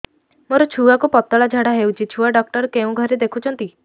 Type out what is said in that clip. ମୋର ଛୁଆକୁ ପତଳା ଝାଡ଼ା ହେଉଛି ଛୁଆ ଡକ୍ଟର କେଉଁ ଘରେ ଦେଖୁଛନ୍ତି